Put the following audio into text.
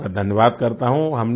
मैं आपका धन्यवाद करता हूँ